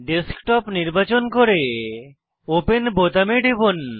desktop নির্বাচন করে open বোতামে টিপুন